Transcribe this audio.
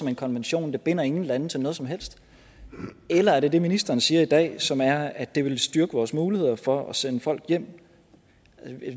en konvention der binder nogen lande til noget som helst eller er det det ministeren siger i dag som er at det vil styrke vores muligheder for at sende folk hjem